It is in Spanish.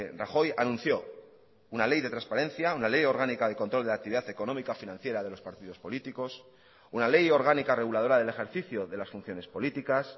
rajoy anunció una ley de transparencia una ley orgánica de control de la actividad económica financiera de los partidos políticos una ley orgánica reguladora del ejercicio de las funciones políticas